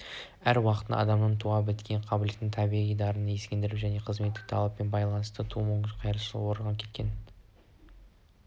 әр уақытта адамның туа біткен қабілеттілігін табиғи дарынын ескеріп және қызметтік талаппен байланысты тууы мүмкін қайшылықтарды орағытып кеткен